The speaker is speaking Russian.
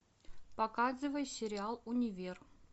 показывай сериал универ